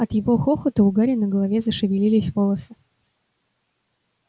от его хохота у гарри на голове зашевелились волосы